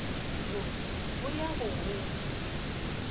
wo go ya go wola